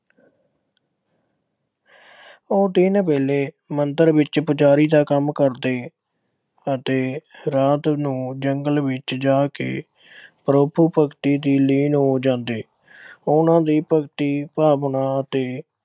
ਉਹ ਦਿਨ ਵੇਲੇ ਮੰਦਰ ਵਿੱਚ ਪੁਜਾਰੀ ਦਾ ਕੰਮ ਕਰਦੇ ਅਤੇ ਰਾਤ ਨੂੰ ਜੰਗਲ ਵਿੱਚ ਜਾ ਕੇ ਪ੍ਰਭੂ ਭਗਤੀ ਵਿੱਚ ਲੀਨ ਹੋ ਜਾਂਦੇ। ਉਨ੍ਹਾਂ ਦੀ ਭਗਤੀ ਭਾਵਨਾ ਅਤੇ